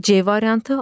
C variantı.